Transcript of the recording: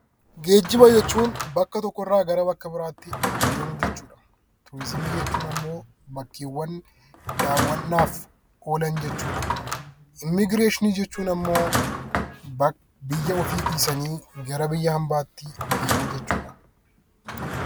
Geejjiba jechuun bakka tokkorraa gara bakka biraatti deemuu jechuudha. Turizimii jechuun immoo bakkeewwan daawwannaaf oolan jechuudha. Immiigireeshinii jechuun immoo biyya ofii dhiisanii gara biyya hambaatti deemuu jechuudha.